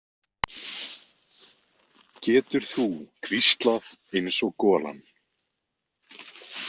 Getur þú hvíslað eins og golan?